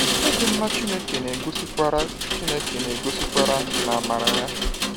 Ịdị mma Chineke na-egosikwara Chineke na-egosikwara n’amara ya.